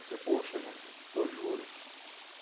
Eu falei, poxa gente, eu juro.